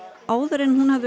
áður en hún hafði